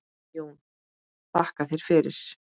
JÓN: Þakka þér fyrir!